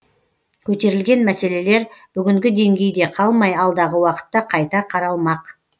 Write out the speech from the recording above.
көтерілген мәселелер бүгінгі деңгейде қалмай алдағы уақытта қайта қаралмақ